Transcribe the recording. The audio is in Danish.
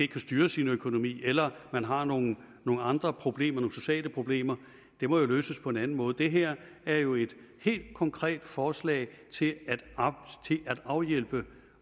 kan styre sin økonomi eller at man har nogle andre problemer nogle sociale problemer må jo løses på en anden måde det her er jo et helt konkret forslag til at afhjælpe